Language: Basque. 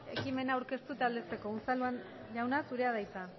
ekimena aurkeztu eta aldezteko unzalu jauna zurea da hitza